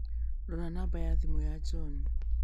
Rora namba ya thimũ ya John